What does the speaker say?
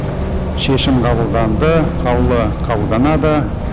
шешім қабылданды қаулы қабылданады